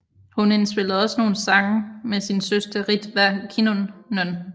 Hun indspillede også nogle sange med sin søster Ritva Kinnunen